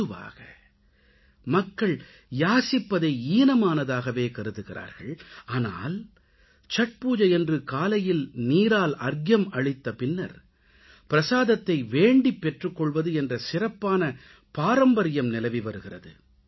பொதுவாக மக்கள் யாசிப்பதை ஈனமானதாகவே கருதுகிறார்கள் ஆனால் சத்பூஜையன்று காலையில் நீரால் அர்க்யம் அளித்த பின்னர் பிரஸாதத்தை வேண்டிப் பெற்றுக்கொள்வது என்ற சிறப்பான பாரம்பரியம் நிலவிவருகிறது